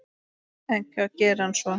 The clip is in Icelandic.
En hvað gerir hann svo?